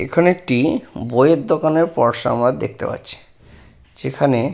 এখানে একটি বইয়ের দোকানের পরসা আমরা দেখতে পাচ্ছি যেখানে --